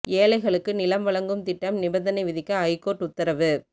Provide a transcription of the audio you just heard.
ஏழைகளுக்கு நிலம் வழங்கும் திட்டம் நிபந்தனை விதிக்க ஐகோர்ட் உத்தரவு